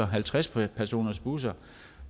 halvtreds personersbusser